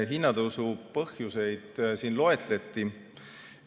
Hinnatõusu põhjuseid siin loetleti.